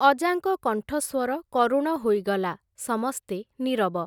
ଅଜାଙ୍କ କଣ୍ଠସ୍ଵର କରୁଣ ହୋଇଗଲା, ସମସ୍ତେ ନିରବ।